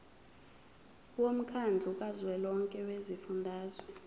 womkhandlu kazwelonke wezifundazwe